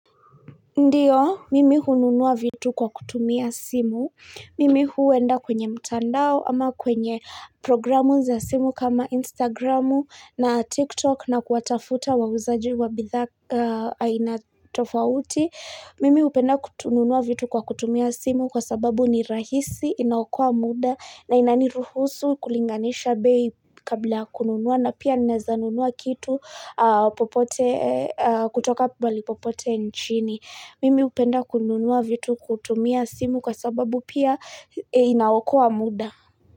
Ndio, mimi hununua vitu kwa kutumia simu. Mimi huenda kwenye mtandao ama kwenye programu za simu kama Instagramu na TikTok na kuwatafuta wauzaji wa bidhaa aina tofauti. Mimi upenda kutununua vitu kwa kutumia simu kwa sababu ni rahisi inaokoa muda na inaniruhusu kulinganisha bei kabla kununua na pia ninaweza nunua kitu popote kutoka pahali popote nchini. Mimi upenda kununua vitu kutumia simu kwa sababu pia inaokoa muda.